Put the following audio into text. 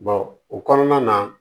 o kɔnɔna na